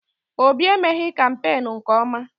Obi emeghị kampeenu nke ọma.